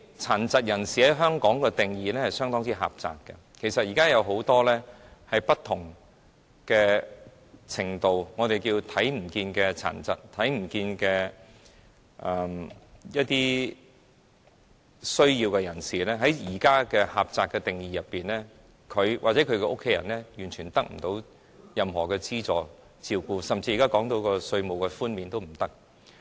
殘疾人士在香港的定義相當狹窄，其實現時有很多不同程度或情況的殘疾，或我們稱之為"看不見的殘疾"或看不見的有需要人士，而根據現時狹窄的定義，他們或他們的家人完全得不到任何資助和照顧，甚至現在討論的稅務寬免也不能令他們受惠。